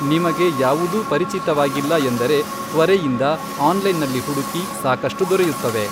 ನಿಮಗೆ ಯಾವುದೂ ಪರಿಚಿತವಾಗಿಲ್ಲ ಎಂದರೆ , ತ್ವರೆಯಿಂದ ಆನ್ಲೈನ್ನಲ್ಲಿ ಹುಡುಕಿ ಸಾಕಷ್ಟು ದೊರೆಯುತ್ತವೆ.